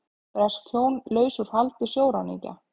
Bresk hjón laus úr haldi sjóræningja